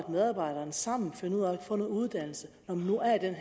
medarbejderen sammen finder ud af at få noget uddannelse når man nu er i den